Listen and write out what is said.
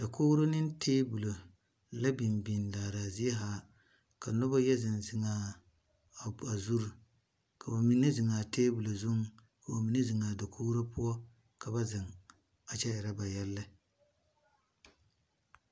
Dakouri ne tabulo la binbin laara zee haa ka nuba yɛ zen zen a zuri ka ba mene zeng a tabulo zung ka ba mene zeng a dakouri puo ka ba zeng a kye ire ba yele.